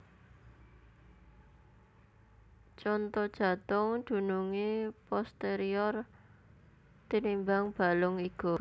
Conto Jatung dunungé posterior tinimbang balung iga